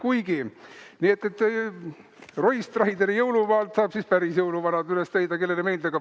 Nii et Roy Strideri jõulumaalt saab siis päris jõuluvanad üles leida, kellele meeldib.